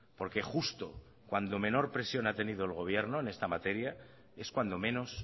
porque justo cuando menos presión ha tenido el gobierno en esta materia es cuando menos